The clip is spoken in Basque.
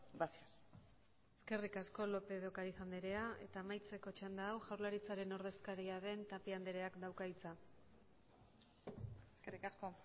gracias eskerrik asko lópez de ocariz andrea eta amaitzeko txanda hau jaurlaritzaren ordezkaria den tapia andreak dauka hitza eskerrik asko